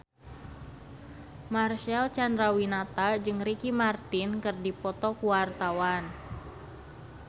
Marcel Chandrawinata jeung Ricky Martin keur dipoto ku wartawan